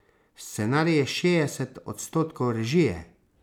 Scenarij je šestdeset odstotkov režije.